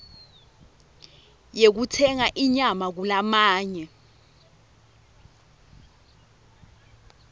yekutsenga inyama kulamanye